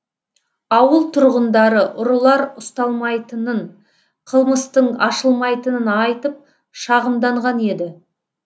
ауыл тұрғындары ұрылар ұсталмайтынын қылмыстың ашылмайтынын айтып шағымданған еді